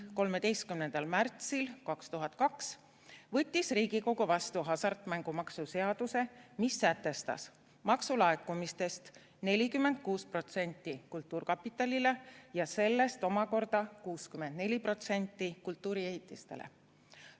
13. märtsil 2002 võttis Riigikogu vastu hasartmängumaksu seaduse, mis sätestas, et maksu laekumistest läheb 46% kultuurkapitalile ja sellest omakorda 64% kultuuriehitistele.